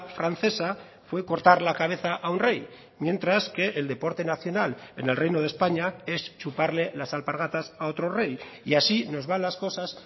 francesa fue cortar la cabeza a un rey mientras que el deporte nacional en el reino de españa es chuparle las alpargatas a otro rey y así nos van las cosas